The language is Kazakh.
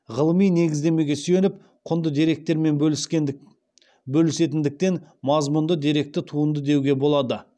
ғылыми негіздемеге сүйеніп құнды деректермен бөлісетіндіктен мазмұнды деректі туынды деуге болады